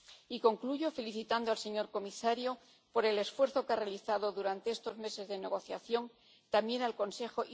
Y concluyo felicitando al señor comisario por el esfuerzo que ha realizado durante estos meses de negociación, también al Consejo